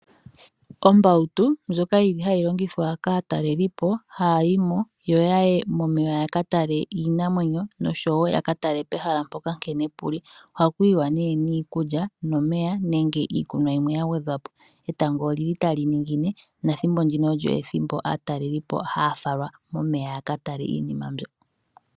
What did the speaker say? Ombautu ndjoka yili hayi longithwa kaatalelipo, haya yi mo, yo yaye momeya yaka tale iinamwenyo nosho wo yaka tale pehala mpoka nkene pu li. Ohaku yiwa niikulya nomeya, nenge iikunwa yimwe ya gwedhwa po. Etango olyi li tali ningine, nethimbo ndino olyo ethimbo aatalelipo haa falwa momeya yaka tale iinima mbyo.